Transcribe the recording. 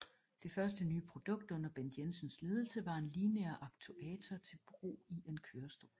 Det første nye produkt under Bent Jensens ledelse var en lineær aktuator til brug i en kørestol